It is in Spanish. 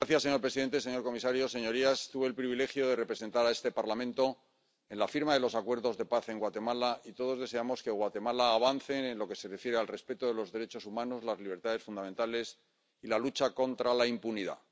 Señor presidente, señor comisario, señorías, tuve el privilegio de representar a este Parlamento en la firma de los Acuerdos de Paz en Guatemala y todos deseamos que Guatemala avance en lo que se refiere al respeto de los derechos humanos, las libertades fundamentales y la lucha contra la impunidad.